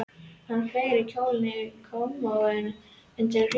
Hann fleygði kjólnum yfir á kommóðuna undir glugganum.